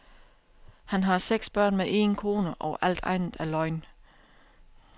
Han har seks børn med én kone, og alt andet er løgn.